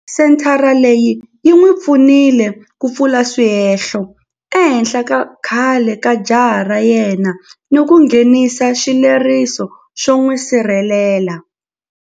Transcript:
Senthara leyi yi n'wi pfunile ku pfula swihehlo ehenhla ka khale ka jaha ra yena ni ku nghenisa xileriso xo n'wi sirhelela.